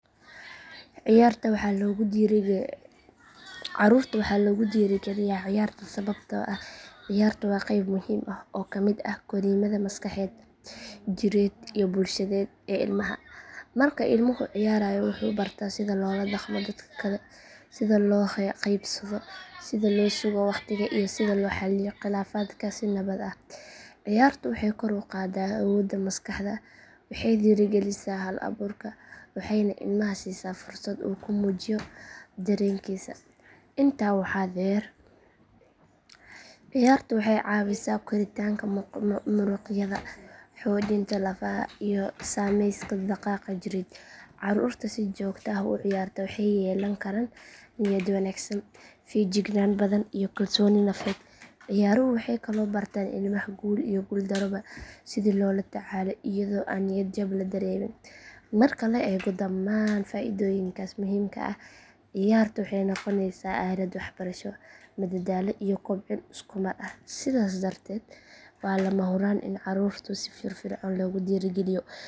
Carruurta waxaa loogu dhiirigeliyaa ciyaarta sababtoo ah ciyaartu waa qeyb muhiim ah oo ka mid ah korriimada maskaxeed, jireed iyo bulsheed ee ilmaha. Marka ilmuhu ciyaarayo wuxuu bartaa sida loola dhaqmo dadka kale, sida loo qaybsado, sida loo sugo waqtiga, iyo sida loo xalliyo khilaafaadka si nabad ah. Ciyaartu waxay kor u qaaddaa awoodda maskaxda, waxay dhiirigelisaa hal abuurka, waxayna ilmaha siisaa fursad uu ku muujiyo dareenkiisa. Intaa waxaa dheer ciyaartu waxay caawisaa koritaanka muruqyada, xoojinta lafaha iyo samayska dhaqaaqa jireed. Carruurta si joogto ah u ciyaarta waxay yeelan karaan niyad wanaagsan, feejignaan badan iyo kalsooni nafeed. Ciyaaruhu waxay kaloo bartaan ilmaha guul iyo guul darroba sidii loola tacaalo iyadoo aan niyad jab la dareemin. Marka la eego dhammaan faa’iidooyinkaas muhiimka ah, ciyaarta waxay noqonaysaa aalad waxbarasho, madadaalo iyo kobcin isku mar ah, sidaas darteed waa lama huraan in carruurta si firfircoon loogu dhiirrigeliyo ciyaar joogto ah.